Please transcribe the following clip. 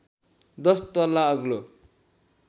१० तल्ला अग्लो